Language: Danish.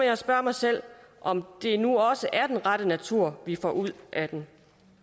jeg spørge mig selv om det nu også er den rette natur vi får ud af den